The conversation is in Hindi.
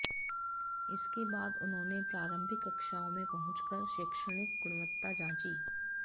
इसके बाद उन्होंने प्रारम्भिक कक्षाओं में पहुंचकर शैक्षणिक गुणवत्ता जांची